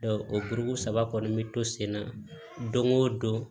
o kuru saba kɔni bi to senna don o don